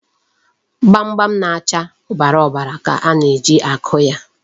Gbamgbam na-acha ọbara ọbara ka a na-eji akụ ya.